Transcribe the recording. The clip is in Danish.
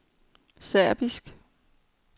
serbiske